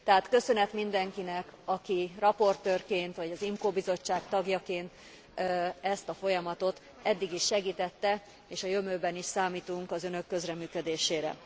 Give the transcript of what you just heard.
Tehát köszönet mindenkinek, aki raportőrként vagy az IMCO bizottság tagjaként ezt a folyamatot eddig is segítette, és a jövőben is számítunk az Önök közreműködésére.